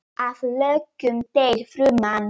Að lokum deyr fruman.